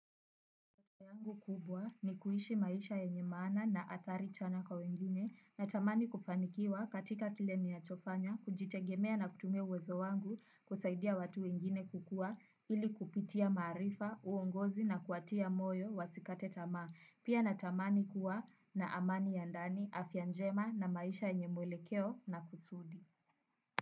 Maono yangu kubwa ni kuishi maisha yenye maana na athari chanya kwa wengine natamani kufanikiwa katika kile ninachofanya kujitegemea na kutumia uwezo wangu kusaidia watu wengine kukua ili kupitia maarifa, uongozi na kuwatia moyo wasikate tamaa. Pia natamani kuwa na amani ya ndani afya njema na maisha yenye mwelekeo na kusudi.